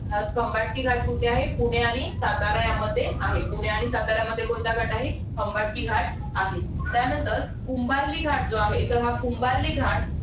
तर खंबाटकी घाट कुठे आहे? पुणे आणि सातारा यामध्ये आहे. पुणे आणि साताऱ्यामध्ये कोणता घाट आहे? खंबाटकी घाट आहे. त्यानंतर कुंभार्ली घाट जो आहे. कुंभार्ली घाट